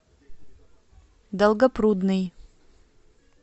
долгопрудный